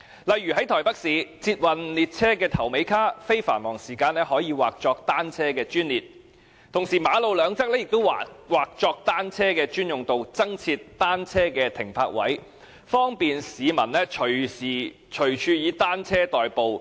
例如在台北市，捷運列車的頭尾車卡，在非繁忙時間可以劃作單車的專列，同時馬路兩側亦劃作單車的專用道，增設單車的停泊位，利便市民隨時隨處以單車代步。